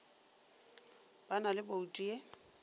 ba na le bouto e